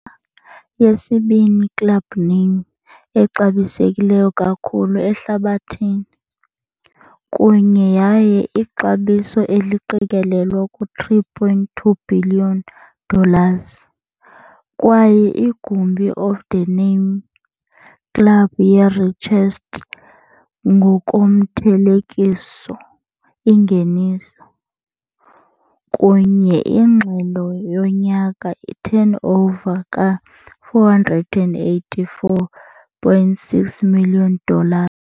Yesibini club name exabisekileyo kakhulu ehlabathini, kunye yaye ixabiso eliqikelelwa ku-3.2 bhiliyoni dollars, kwaye igumbi of the name club ye-richest ngokomthelekiso ingeniso, kunye ingxelo yonyaka i-turnover ka-484.6 million dollar.